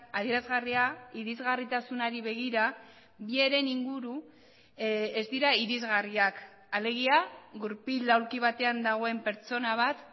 adierazgarria irisgarritasunari begira bi heren inguru ez dira irisgarriak alegia gurpil aulki batean dagoen pertsona bat